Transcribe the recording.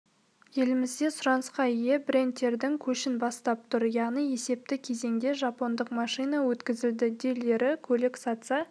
елімізде сұранысқа ие брендтердің көшін бастап тұр яғни есепті кезеңде жапондық машина өткізілді дилерлері көлік сатса